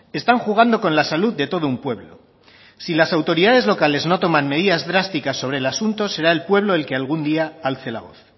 están jugando con la salud de todo un pueblo si las autoridades locales no toman medidas drásticas sobre el asunto será el pueblo el que algún día alce la voz